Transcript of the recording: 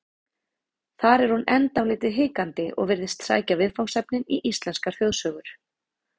Þar er hún enn dálítið hikandi og virðist sækja viðfangsefnin í íslenskar þjóðsögur.